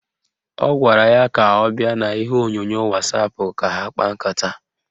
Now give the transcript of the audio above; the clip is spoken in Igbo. Ọ gwara ya ka ọ bịa n'ihe onyonyo wasapụ ka ha kpaa nkata